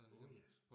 Åh ja